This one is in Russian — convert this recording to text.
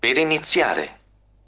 чары